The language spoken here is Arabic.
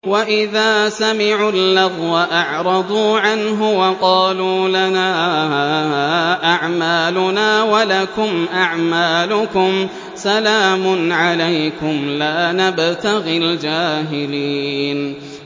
وَإِذَا سَمِعُوا اللَّغْوَ أَعْرَضُوا عَنْهُ وَقَالُوا لَنَا أَعْمَالُنَا وَلَكُمْ أَعْمَالُكُمْ سَلَامٌ عَلَيْكُمْ لَا نَبْتَغِي الْجَاهِلِينَ